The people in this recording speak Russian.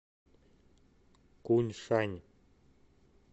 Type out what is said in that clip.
куньшань